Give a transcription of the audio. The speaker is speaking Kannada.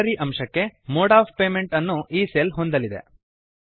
ಸ್ಯಾಲರಿ ಅಂಶಕ್ಕೆ ಮೋಡ್ ಒಎಫ್ ಪೇಮೆಂಟ್ ಅನ್ನು ಈ ಸೆಲ್ ಹೊಂದಲಿದೆ